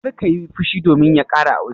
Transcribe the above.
Kar ka yi fushi domin ya ƙara aure!